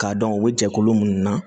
K'a dɔn o jɛkulu minnu na